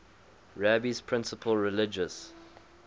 rabbi's principal religious